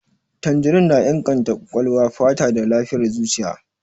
Tanjirin na inganta ƙwaƙwalwa, fata da lafiyar zuciya.